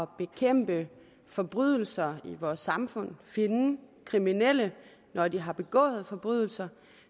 bekæmpe forbrydelser i vores samfund og finde de kriminelle når de har begået forbrydelser